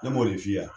Ne m'o de f'i ye